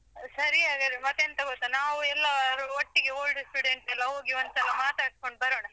ಸರಿ ಹಾಗಾದ್ರೆ ಮತ್ತೆಂತ ಗೊತ್ತಾ ನಾವು ಎಲ್ಲಾರು ಒಟ್ಟಿಗೆ old students ಎಲ್ಲ ಹೋಗಿ ಒಂದ್ಸಲ ಮಾತಾಡ್ಸ್ಕೊಂಡ್ ಬರೋಣ.